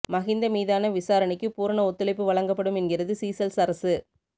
மகிந்த மீதான விசாரணைக்கு பூரண ஒத்துழைப்பு வழங்கப்படும் என்கிறது சீசெல்ஸ் அரசு